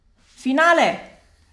Finale!